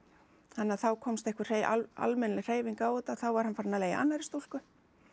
þannig að þá komst einhver almennileg hreyfing á þetta þá var hann farinn að leigja annarri stúlku